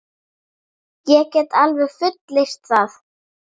Ég get alveg fullyrt það.